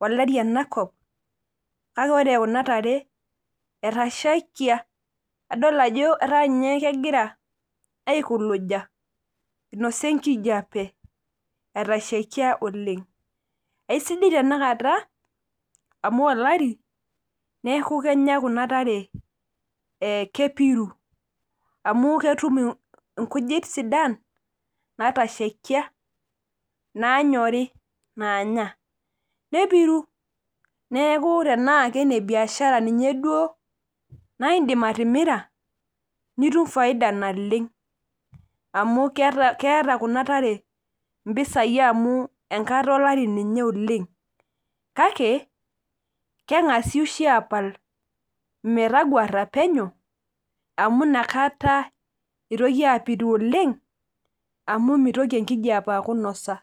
olari enakop kake oree kuna tare etashaikia adol ajo etaa nyee kegira aikuluja einosa ekijape etashaikia oleng' aisidai tenakata amuu olari neeku kenyaa kuna tare kepiru amu ketum inkujit sidan naatashaikia naanyorii naanya nepiruu, neeku tenaa inebiashara ninye duoo naa iidim atimira nitum faida naleng' amu keeta kuna taree impisai amuu enkata olari ninye oleng' kakee keng'asi oshii apal metaguara penyo amuu nakataa eitoki apiru oleng' amu meitoki enkijape aaku einisa